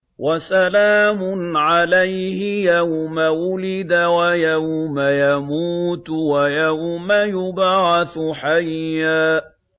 وَسَلَامٌ عَلَيْهِ يَوْمَ وُلِدَ وَيَوْمَ يَمُوتُ وَيَوْمَ يُبْعَثُ حَيًّا